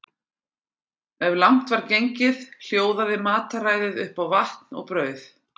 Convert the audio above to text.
Ef langt var gengið hljóðaði mataræðið upp á vatn og brauð.